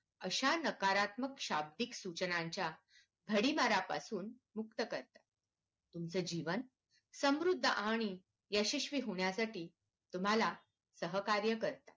अशा नकारत्मक शाब्दिक सूचनांच्या भडिमारापासून मुक्त करतात तुमचं जीवन समृद्ध आणि यशस्वी होण्यासाठी तुम्हाला सहकार्य करतात